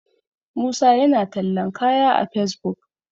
musa yana tallan kaya a fesbuk